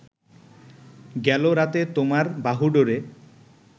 গেল রাতে তোমার বাহুডোরে